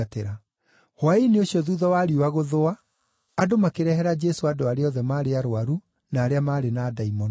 Hwaĩ-inĩ ũcio thuutha wa riũa gũthũa, andũ makĩrehera Jesũ andũ arĩa othe maarĩ arũaru na arĩa maarĩ na ndaimono.